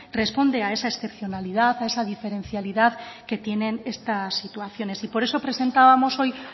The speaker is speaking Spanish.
responde a esa excepcionalidad a esa diferencialidad que tienen estas situaciones y por eso presentábamos hoy